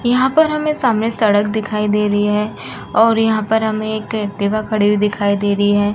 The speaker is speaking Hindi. यहाँ पर हमें सामने सड़क दिखाई दे रही है और यहाँ पर हमें एक एक्टिवा खड़ी हुई दिखाई दे रही है।